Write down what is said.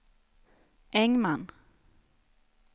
Engman